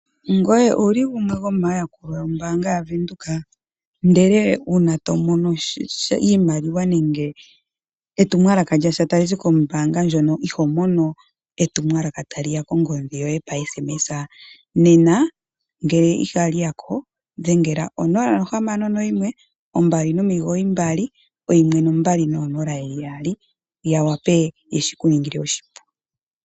Ngoye owuli gumwe gomayakulwa yombaanga yaWindhoek ndele uuna to mono sha iimaliwa nenge etumwalaka lyasha tali zi kombaanga ndjono iho mono etumwalaka tali ya kongodhi yoye pokatumwalaka okafupi? Nena ngele ihali yako dhengela konomola yo 0612991200 ya wape yeshi ku ningile oshipu.